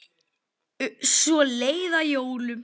Svo leið að jólum.